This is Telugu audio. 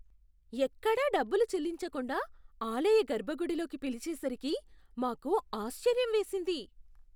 ఎక్కడా డబ్బులు చెల్లించకుండా ఆలయ గర్భగుడి లోకి పిలిచేసరికి మాకు ఆశ్చర్యం వేసింది.